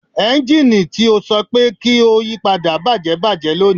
Ẹnjini ti o sọ pe ki o yipada bajẹ bajẹ loni